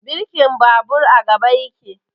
Birkin babur a gaba yake